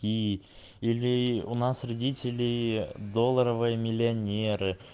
и или у нас родители долларовые миллионеры